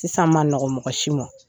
Sisan ma n nɔgɔ mɔgɔ si ma.